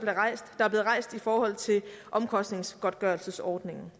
er blevet rejst i forhold til omkostningsgodtgørelsesordningen